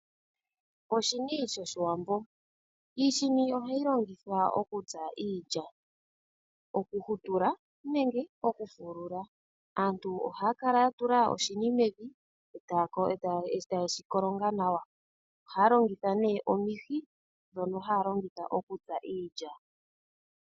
Iishini yoshiwambo ohayi longithwa okutsa iilya ngaashi okuyi hutula nenge okuyi fulula. Aantu ohaya kala ya tula oshini mevi eta yeshikolongelemo nawa mevi ndele omulungu goshini ogo ashike hagu kala kombanda. Ohaya longitha nee omihi okutsa iilya.